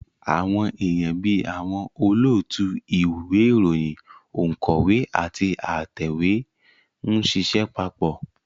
Àwọn èèyàn bí àwọn olóòtú ìwé ìròyìn, ònkọ́wé àti atẹ̀wé ń ṣiṣẹ́ papọ̀